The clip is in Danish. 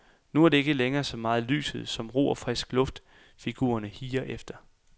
Nu er det ikke længere så meget lyset, som ro og frisk luft figurerne higer efter.